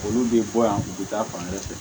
Olu bɛ bɔ yan u bɛ taa fan wɛrɛ fɛ